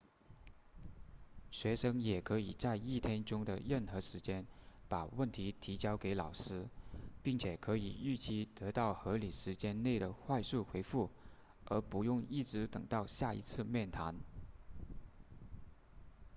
学生也可以在一天中的任何时间把问题提交给老师并且可以预期得到合理时间内的快速回复而不用一直等到下一次面谈